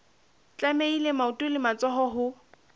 tlamehile maoto le matsoho ho